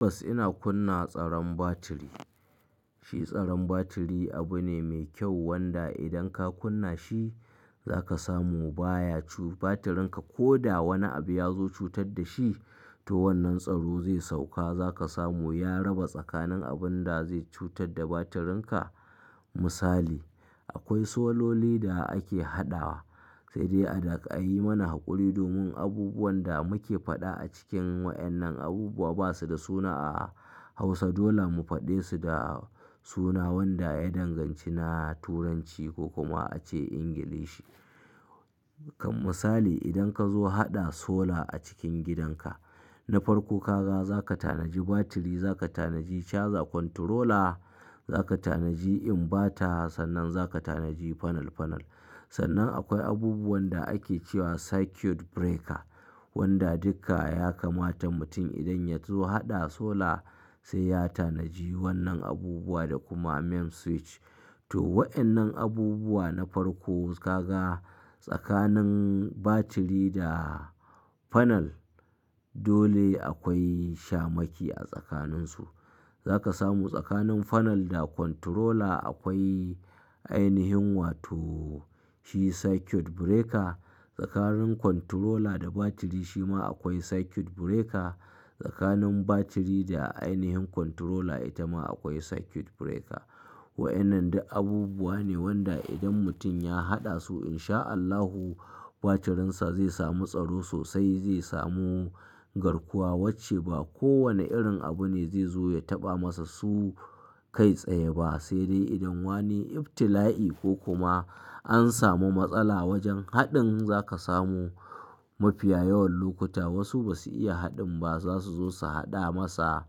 Tabbas ina kunna tsaron batiri. Shi tsaron batiri abu ne mai kyau wanda idan ka kunna shi za ka samu baya cu batirin ka. Ko da wani abu ya zo cutar da shi to wannan tsaro zai sauka za ka samu ya raba tsakanin abun da zai cutar da batirin ka. Misali, akwai sololi da ake haɗawa sai dai a da aka yi mana haƙuri domin abubuwan da muke faɗa a cikin wa'annan abubuwa ba su da suna a Hausa dole mu faɗe su da suna wanda ya danganci na Turanci ko kuma ace Ingilishi. Kan misali idan ka zo haɗa sola a cikin gidan ka na farko ka ga za ka tanaji batiri, za ka tanaji charger, controller, za ka tanaji inverter, sannan za ka tanaji panel panel. Sannan akwai abubuwan da ake cewa circuit breaker wanda duka ya kamata mutum idan ya zo haɗa sola sai ya tanaji wannan abubuwa da kuma main switch. To wa'annan abubuwa na farko ka ga tsakanin batiri da panel dole akwai shamaki a tsakanin su. Za ka samu tsakanin panel da controller akwai ainihin wato shi circuit breaker. Tsakanin controller da batiri shi ma akwai circuit breaker. Tsakanin batiri da ainihin controller ita ma akwai circuit breaker. Wa ƴannan da abubuwa ne wanda idan mutum ya haɗa su in sha Allahu batirin sa zai samu tsaro sosai, zai samu garkuwa wacce ba kowane irin abu ne zai zo ya taɓa masa su kai tsaye ba. Sai dai idan wani ibtila'i ko kuma an samu matsala wajen haɗin za ka samu mafiya yawan lokuta wasu ba su iya haɗin ba za su zo su haɗa masa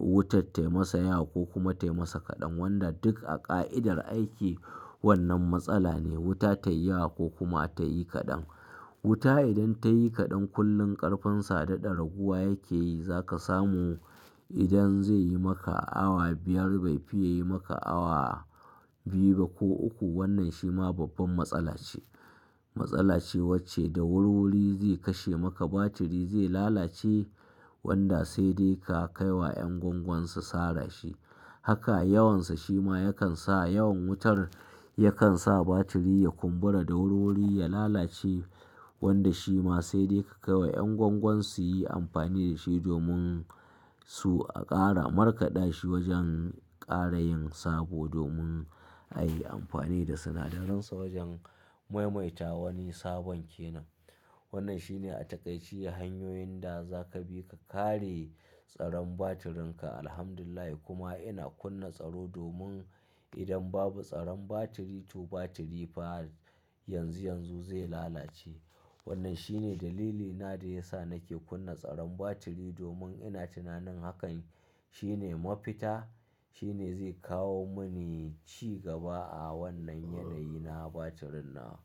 wuta tayi masa yawa ko kuma tayi masa kaɗan. Wanda duk a ƙa'idar aiki wannan matsala ne wuta ta yi yawa ko kuma ta yi kaɗan. Wuta idan ta yi kaɗan kullum ƙarfinsa daɗa raguwa yake yi. Za ka samu idan zai yi maka awa biyar bai fi ya yi maka awa biyu ba ko uku wannan shi ma babban matsala ce. Matsala ce wacce da wurwuri zai kashe maka batiri zai lalace wanda sai dai ka kai wa 'yan gwangwan su sara shi. Haka yawan sa shi ma yakan sa yawan wutar yakan sa batiri ya kumbura da wurwuri ya lalace wanda shi ma sai dai ka kai wa 'yan gwangwan su yi amfani da shi domin su aƙara markaɗa shi wajen ƙara yin sabo domin a yi amfani da sinadaran sa wajen maimaita wani sabon kenan. Wannan shi ne a takaice hanyoyin da za ka bi ka kare tsaron batirin ka. Alhamdulillah kuma ina kunna tsaro domin idan babu tsaron batiri to batiri fa yanzu yanzu zai lalace. Wannan shi ne dalilina da ya sa nake kunna tsaron batiri domin ina tunanin hakan shi ne mafita, shi ne zai kawo mani ci gaba a wannan yanayi na batirin na.